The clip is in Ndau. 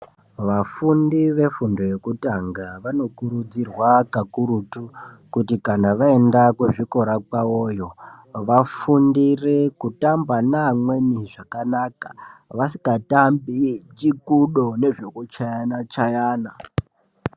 Vafundi vefundo yekutanga vanokurudzirwa kakurutu kuti kana vaenda kuzvikora kwavoyo vafundire kutamba neamweni zvakanaka vasikatambi chikudo nezvekuchayana chayana.